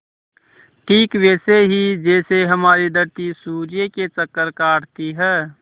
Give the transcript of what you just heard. ठीक वैसे ही जैसे हमारी धरती सूर्य के चक्कर काटती है